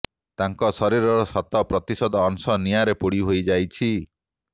ତାଙ୍କ ଶରୀରର ଶତ ପ୍ରତିଶତ ଅଂଶ ନିଆଁରେ ପୋଡି ହୋଇଯାଇଛି